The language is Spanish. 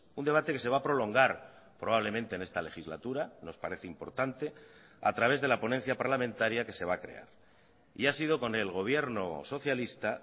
un debate que se va a prolongar probablemente en esta legislatura nos parece importante a través de la ponencia parlamentaria que se va a crear y ha sido con el gobierno socialista